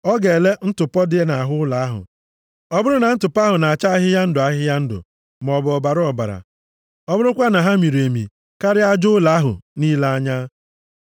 Ọ ga-ele ntụpọ dị nʼahụ ụlọ ahụ. Ọ bụrụ na ntụpọ ahụ na-acha ahịhịa ndụ ahịhịa ndụ, maọbụ ọbara ọbara, + 14:37 Nke na-acha mmanụ nri mmanụ nri ọ bụrụkwa na ha miri emi karịa aja ụlọ ahụ nʼile anya,